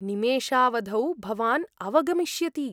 निमेषावधौ भवान् अवगमिष्यति।